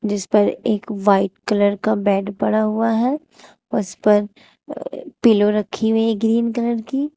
इस पर एक व्हाइट कलर का बेड पड़ा हुआ है उस पर पिलो रखी हुई है ग्रीन कलर की।